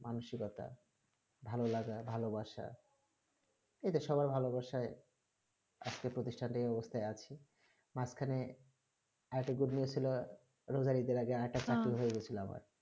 মানযুর কথা ভালো লাগা ভালো বাসা এদের সবাই ভালো বসায়ে আজকে প্রসিথাকে বসে আছি মাছ খানে আর একটা গম্ভীর ছিল রোজগাড়ি আগে আটা